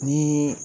Ni